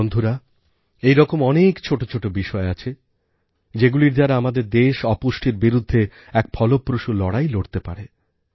বন্ধুরা এইরকম অনেক ছোটো ছোটো বিষয় আছে যেগুলির দ্বারা আমাদের দেশ অপুষ্টির বিরুদ্ধে এক ফলপ্রসূ লড়াই লড়তে পারে